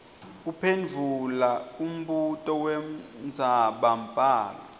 kuphendvula umbuto wendzabambhalo